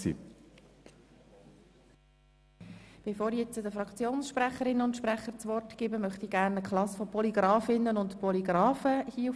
Bevor ich den Fraktionssprecherinnen und -sprechern das Wort erteile, möchte ich gerne eine Polygrafinnen- und Polygrafenklasse begrüssen.